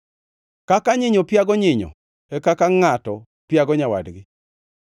Kaka nyinyo piago nyinyo, e kaka ngʼato piago nyawadgi.